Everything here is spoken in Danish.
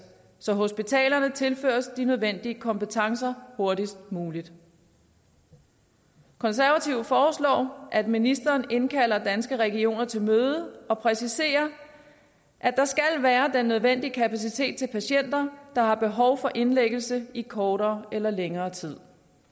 så hospitalerne tilføres de nødvendige kompetencer hurtigst muligt konservative foreslår at ministeren indkalder danske regioner til møde og præciserer at der skal være den nødvendige kapacitet til patienter der har behov for indlæggelse i kortere eller længere tid